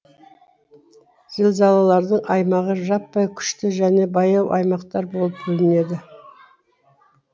зілзалалардың аймағы жаппай күшті және баяу аймақтар болып бөлінеді